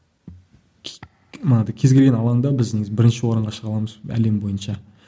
анадай кез келген алаңда біз негізі бірінші орынға шыға аламыз әлем бойынша